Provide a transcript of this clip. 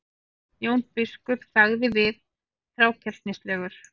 Jón biskup þagði við, þrákelknislegur.